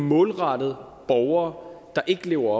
målrettet borgere der ikke lever